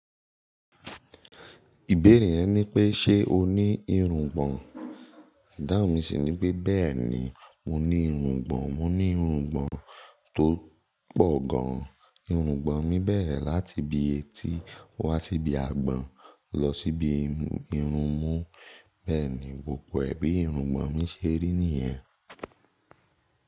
Ìbéèrè yẹn ni pé ṣe o ní irùngbọ̀n? Idahun mi sì ní pé bẹ́ẹ̀ni, mo ní irùngbọ̀n, mo ní irùngbọ̀n tó pọ̀ gan. Irùngbọ̀n mi bẹ̀rẹ̀ láti ibi etí wá sí ibi àgbọ̀n lọ sí ibi irun mú. Bẹ́ẹ̀ni, gbogbo ẹ̀ bi irùngbọ̀n mi ṣe rí nìyẹn.